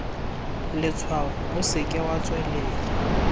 letshwaong o seke wa tswelela